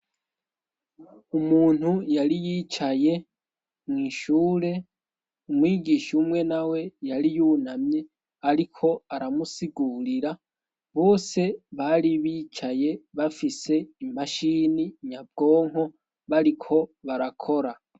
Umuntu yari yicaye mw' ishure, umwigisha umwe na we yari yunamye ariko aramusigurira, bose bari bicaye bafise imashini nyabwonko bariko barakora.